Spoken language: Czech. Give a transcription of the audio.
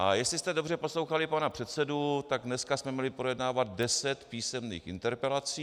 A jestli jste dobře poslouchali pana předsedu, tak dneska jsme měli projednávat deset písemných interpelací.